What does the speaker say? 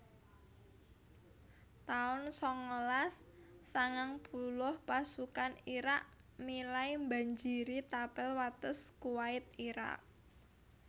taun sangalas sangang puluh Pasukan Irak milai mbanjiri tapel wates Kuwait Irak